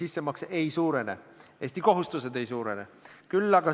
Riik maksab midagi sisse ja siis teised saavad ka sealt midagi.